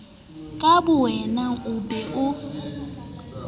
ka bowena o be o